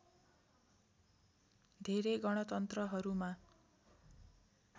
धेरै गणतन्त्रहरूमा